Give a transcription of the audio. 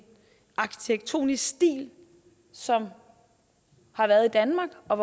arkitektonisk stil som har været i danmark og